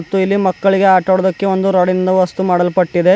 ಮತ್ತು ಇಲ್ಲಿ ಮಕ್ಕಳಿಗೆ ಆಟ ಆಡೋದಕ್ಕೆ ಒಂದು ರಾಡಿನಿಂದ ವಸ್ತು ಮಾಡಲ್ಪಟ್ಟಿದೆ.